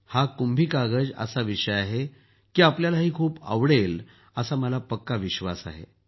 हा कुंभी कागज असा विषय आहे की आपल्यालाही खूप आवडेल असा मला पक्का विश्वास आहे